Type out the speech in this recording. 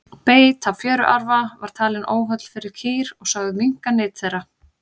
beit á fjöruarfa var talinn óholl fyrir kýr og sögð minnka nyt þeirra